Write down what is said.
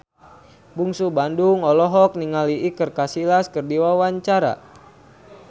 Bungsu Bandung olohok ningali Iker Casillas keur diwawancara